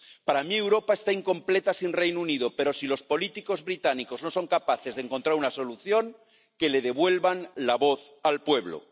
Para mí, Europa está incompleta sin el Reino Unido, pero si los políticos británicos no son capaces de encontrar una solución, que le devuelvan la voz al pueblo.